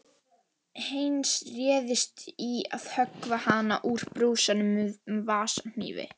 Heinz réðist í að höggva hana úr brúsanum með vasahnífi.